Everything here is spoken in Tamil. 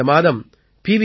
இந்த மாதம் பி